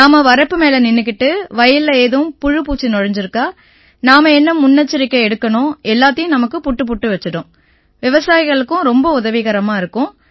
நாம வரப்பு மேல நின்னுக்கிட்டு வயல்ல ஏதும் புழுபூச்சி நுழைஞ்சிருக்கா நாம என்ன முன்னெச்சரிக்கை எடுக்கணும் எல்லாத்தையும் நமக்குப் புட்டுபுட்டு வச்சிடும் விவசாயிகளுக்கும் ரொம்ப உதவிகரமா இருக்கும்